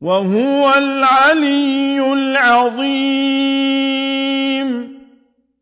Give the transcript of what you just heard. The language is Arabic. وَهُوَ الْعَلِيُّ الْعَظِيمُ